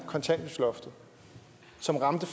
kontanthjælpsloftet som ramte